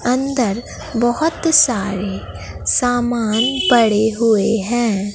अंदर बहुत सारे सामान पड़े हुए हैं।